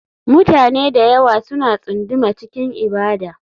Mutane da yawa suna tsunduma cikin ibada.